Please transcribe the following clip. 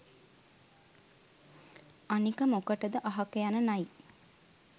අනික මොකටද අහක යන නයි